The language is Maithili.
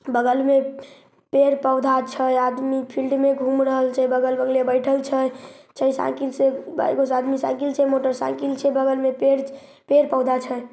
बगल मे पेड़-पौधा छै आदमी फिल्ड में घूम रहल छै बगल बगले बइठल छै छै साइकिल से आदमी साइकिल से मोटरसाईकिल छै बगल मे पेड़-पौधा छै।